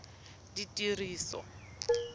ditiriso